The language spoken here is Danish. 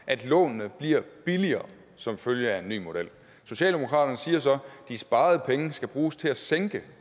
at lånene bliver billigere som følge af en ny model socialdemokraterne siger så at de sparede penge skal bruges til at sænke